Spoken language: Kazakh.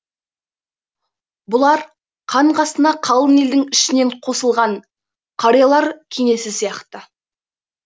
бұлар хан қасына қалың елдің ішінен қосылған қариялар кеңесі сияқты